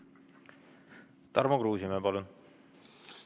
Tarmo Kruusimäe, palun!